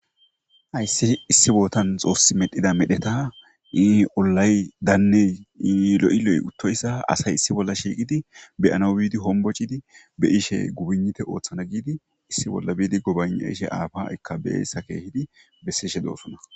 Hayssi issi boothan xoossi medhida medheta ii ollay danney ii lo7i lo7i uththoysa asay issi bolla shiiqidi be7anawu biidi hombbocidi be7ishee gubignithe ooththana giidi issi bolla biidi gobaygna7ishe aafa ikka bessa keehidi bessishe doosona.